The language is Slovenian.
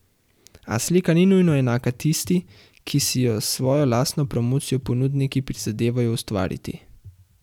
A slika ni nujno enaka tisti, ki si jo s svojo lastno promocijo ponudniki prizadevajo ustvariti.